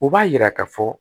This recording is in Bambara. U b'a yira k'a fɔ